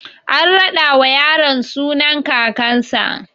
An raɗa wa yaro sunan kakan sa